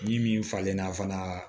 Min falenna fana